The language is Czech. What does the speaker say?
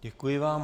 Děkuji vám.